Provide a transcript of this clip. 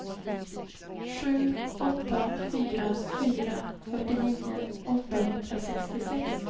sju åtta fyra fyra fyrtionio åttahundrasextiosex